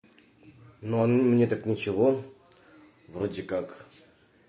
но мне так ничего вроде как